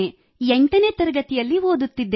8 ನೇ ತರಗತಿಯಲ್ಲಿ ಓದುತ್ತಿದ್ದೇನೆ